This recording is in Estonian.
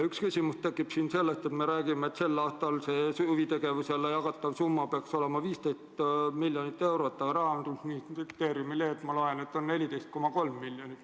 Üks küsimus tekib siin sellest, kui me räägime, et sel aastal peaks huvitegevusele jagatav summa olema 15 miljonit eurot, aga Rahandusministeeriumi lehelt ma loen, et seda on 14,3 miljonit.